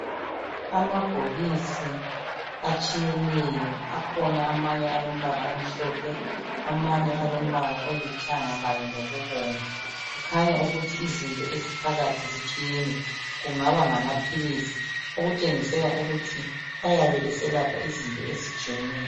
Amabhokisi atshiyeneyo akhona amanye alombala omhlophe amanye alombala olithanga kanye lokubomvu. Kukhanya ukuthi izinto eziphakathi zitshiyene kungaba ngamaphilisi, okutshengisela ukuthi ayabe eselapha izinto ezitshiyeneyo.